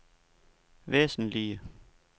væsentlige